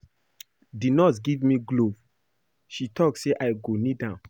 The nurse give me glove, she talk say I go need am